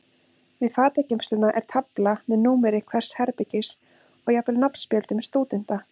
Við fatageymsluna er tafla með númeri hvers herbergis og jafnvel nafnspjöldum stúdenta.